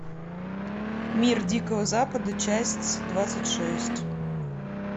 мир дикого запада часть двадцать шесть